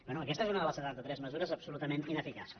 bé aquesta és una de les setanta tres mesures absolutament ineficaces